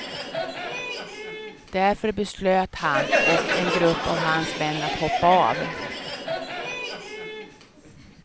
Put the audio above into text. Därför beslöt han och en grupp av hans män att hoppa av.